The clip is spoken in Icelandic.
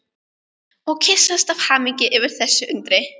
Og kyssast af hamingju yfir þessu undri.